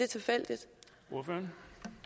tilfældigt